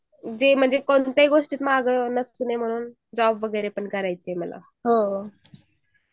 कोणत्या गोष्टीत मग राहायचा नाही म्हणून जॉब करायचा आहे मला